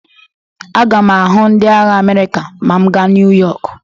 Aga m ahụ ndị agha Amerịka ma m gaa Nuyọk.